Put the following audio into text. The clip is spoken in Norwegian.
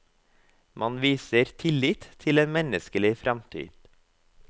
Man viser tillit til en menneskelig fremtid.